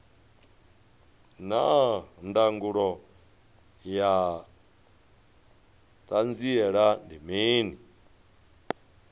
naa ndangulo ya hanziela ndi mini